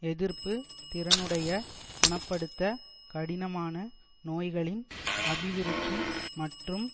எதிர்ப்பு திறனுடைய குண படுத்த கடினமான நோய்களின் அபிவிருத்தி மற்றும்